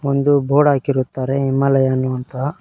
ಒಂದು ಬೋರ್ಡ್ ಹಾಕಿರುತ್ತಾರೆ ಹಿಮಾಲಯ ಅನ್ನುವಂತ--